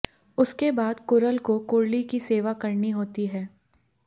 उसके बाद कुरल को कुरली की सेवा करनी होती है